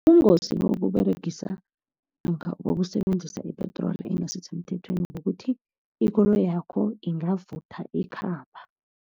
Ubungozi bokuberegisa, namkha bokusebenzisa ipetroli engasisemthethweni kukuthi ikoloyakho ingavutha ikhamba.